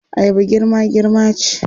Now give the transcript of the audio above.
Ayaba girma-girma ce.